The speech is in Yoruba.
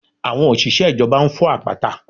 Àwọn òṣìṣẹ́ ìjọba ń fọ́ àpáta